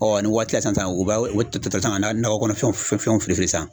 ni waati la sisan sisan u b'a u bɛ to sisan ka nakɔ kɔnɔfɛnw fili fili sisan.